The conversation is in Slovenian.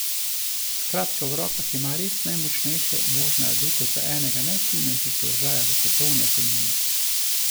Skratka v rokah ima res najmočnejše možne adute za enega najvplivnejših položajev v svetovni ekonomiji.